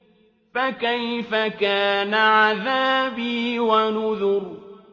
فَكَيْفَ كَانَ عَذَابِي وَنُذُرِ